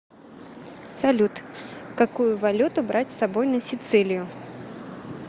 салют какую валюту брать с собой на сицилиию